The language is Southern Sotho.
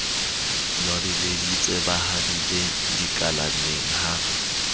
nwabeleditse ba habile kalaneng ha